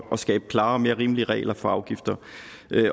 skabe klarere og mere rimelige regler for afgifter